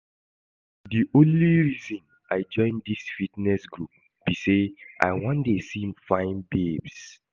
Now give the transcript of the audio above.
The only reason I join dis fitness group be say I wan dey see fine babes